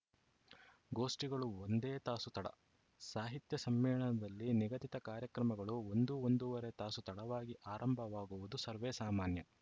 ಗೋಷ್ಠಿಗಳು ಒಂದೇ ತಾಸು ತಡ ಸಾಹಿತ್ಯ ಸಮ್ಮೇಳನದಲ್ಲಿ ನಿಗದಿತ ಕಾರ್ಯಕ್ರಮಗಳು ಒಂದುಒಂದೂವರೆ ತಾಸು ತಡವಾಗಿ ಆರಂಭವಾಗುವುದು ಸರ್ವೇಸಾಮಾನ್ಯ